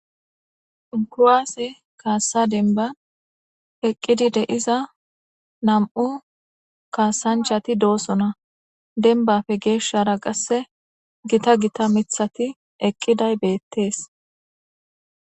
Kuwase kasa demban Eqidi de'izay .Namu kasanchati dossona dembape geshara Qase Gita Gita Mithati Eqiday Betes